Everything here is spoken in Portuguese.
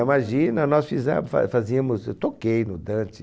Imagina nós fizemos fa fa fazíamos, eu toquei no Dante.